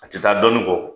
A tɛ taa dɔnni kɔ